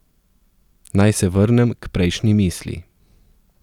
Naj se vrnem k prejšnji misli.